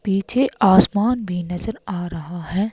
पीछे आसमान भी नजर आ रहा है।